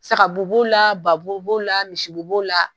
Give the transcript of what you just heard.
Saga bo b'o la, ba bo b'o la, misi bo b'o la.